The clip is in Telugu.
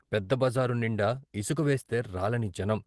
పెద్దబజారు నిండా ఇసుక వేస్తే రాలని జనం.